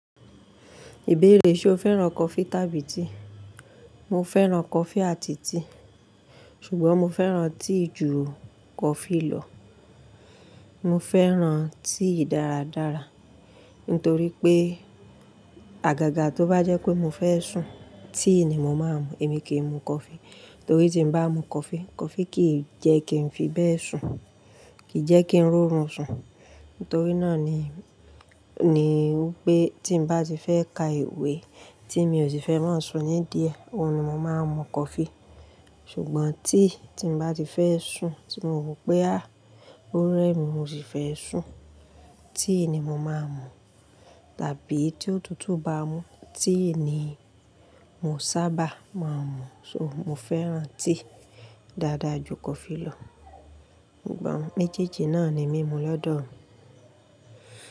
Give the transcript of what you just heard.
Ìbéèrè ṣe o fẹ́ràn coffee tàbí tea? Mo fẹ́ràn coffee àti tea, ṣùgbọ́n mo fẹ́ràn tea jù coffee lọ. Mo fẹ́ràn tea dáradára, nítorí pé àgàgà tó bá jẹ́ pé mo fẹ́ sùn, tea ni mo máa ń mu. Èmi kì í mu coffee, torí tí mo bá mu coffee, coffee kì í jẹ́ kí n fi bẹ́ẹ̀ sùn, kì í jẹ́ kí n rọrùn sùn. Nítorí náà ni, ni pé tí mo bá ti fẹ́ ka ìwé tí mi ò si fẹ́ máa sùn nídí ẹ̀, òun ni mo máa ń mu coffee. Ṣùgbọ́n tea tí mo bá ti fẹ́ sùn tí mo wò pé a, ó rẹ mi, mo sì fẹ́ sùn, tea ni mo máa ń mu. Tàbí tí òtútù bá mú, tea ni mo sábà máa ń mu. So, mo fẹ́ràn tea dáadáa ju coffee lọ. Ṣùgbọ́n méjèèjì náà ni mí mu lọ́dọ̀ ọ̀run.